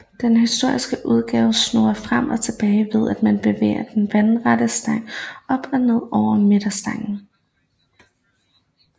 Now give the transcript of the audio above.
Den historiske udgave snurrer frem og tilbage ved at man bevæger den vandrette stang op og ned over midterstangen